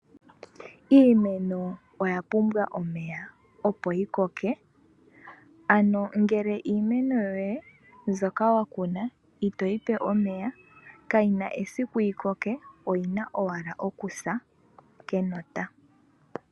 Iimeno oya pumbwa omeya, opo yi koke. Ano ngele iimeno yoye mbyoka wa kuna itoyi pe omeya kayina esiku yi koke oyina owala okusa kenota.